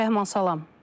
Rəhman salam.